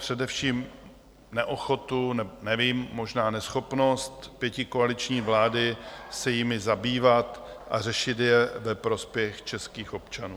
Především neochotu - nevím, možná neschopnost - pětikoaliční vlády se jimi zabývat a řešit je ve prospěch českých občanů.